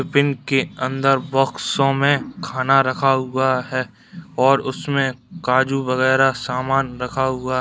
tiffin के अंदर बॉक्सो में खाना रखा हुआ है और उसमें काजू वगैरा सामान रखा हुआ --